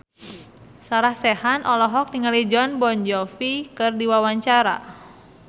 Sarah Sechan olohok ningali Jon Bon Jovi keur diwawancara